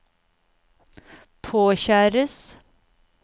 påkjæres